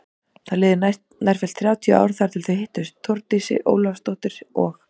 Það liðu nærfellt þrjátíu ár þar til þau hittust Þórdís Ólafsdóttir og